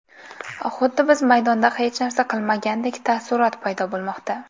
Xuddi biz maydonda hech narsa qilmagandek taassurot paydo bo‘lmoqda.